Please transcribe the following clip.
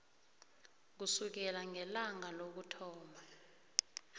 kusukela ngelanga lokuthoma